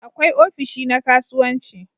Akwai ofishi na kasuwanci